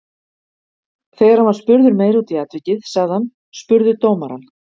Þegar hann var spurður meira út í atvikið sagði hann: Spurðu dómarann.